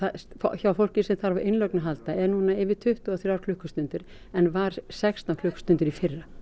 hjá fólki sem þarf á innlögn að halda er núna tuttugu og þrjár klukkustundir en var sextán klukkustundir í fyrra